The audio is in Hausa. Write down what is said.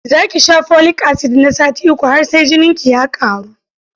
Za ki sha folik-asid na sati uku har sai jininki ya ƙaru.